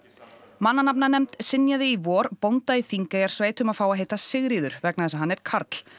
mannanafnanefnd synjaði í vor bónda í Þingeyjarsveit um að fá að heita Sigríður vegna þess að hann er karl